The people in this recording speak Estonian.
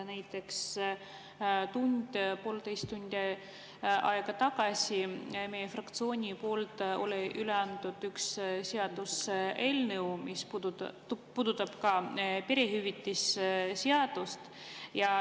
Näiteks tund või poolteist tundi tagasi anti meie fraktsiooni poolt üle üks seaduseelnõu, mis puudutab ka perehüvitiste seadust.